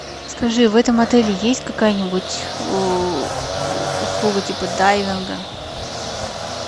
скажи в этом отеле есть какая нибудь услуга типа дайвинга